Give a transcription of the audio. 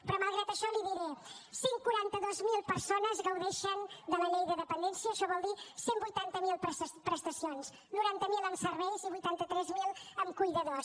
però malgrat això li diré cent i quaranta dos mil persones gaudeixen de la llei de dependència això vol dir cent i vuitanta miler prestacions noranta miler en serveis i vuitanta tres mil en cuidadors